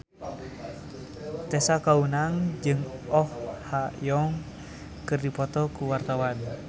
Tessa Kaunang jeung Oh Ha Young keur dipoto ku wartawan